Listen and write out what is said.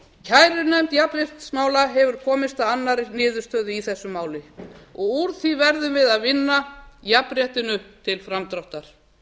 kærunefnd jafnréttismála hefur komist að annarri niðurstöðu í þessu máli og úr því verðum við að vinna jafnréttinu til framdráttar